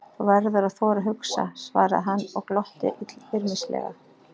Þú verður að þora að hugsa svaraði hann og glotti illyrmislega.